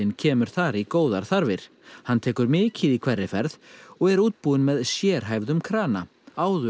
kemur þar í góðar þarfir hann tekur mikið í hverri ferð og er útbúinn með sérhæfðum krana áður